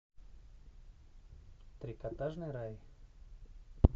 трикотажный рай